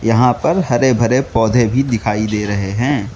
यहां पर हरे भरे पौधे भी दिखाई दे रहे हैं।